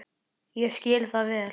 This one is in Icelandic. Ég skil það vel.